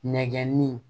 Nɛgɛnni